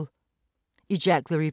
DR2